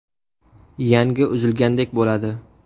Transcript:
Yangi uzilgandek bo‘ladi.